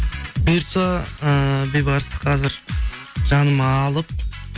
бұйыртса ыыы бейбарысты қазір жаныма алып